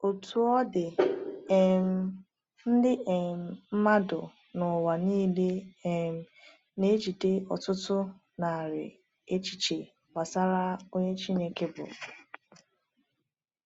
Otú ọ dị, um ndị um mmadụ n’ụwa niile um na-ejide ọtụtụ narị echiche gbasara onye Chineke bụ.